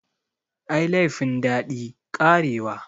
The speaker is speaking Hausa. Ai laifin daɗi, karewa.